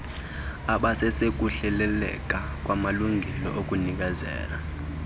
ababesakuhleleleka kwanamalinge okunikezela